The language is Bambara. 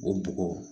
O bɔgɔ